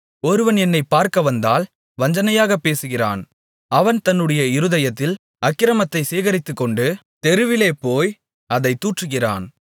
ஒருவன் என்னைப் பார்க்கவந்தால் வஞ்சனையாகப் பேசுகிறான் அவன் தன்னுடைய இருதயத்தில் அக்கிரமத்தைச் சேகரித்துக்கொண்டு தெருவிலே போய் அதைத் தூற்றுகிறான்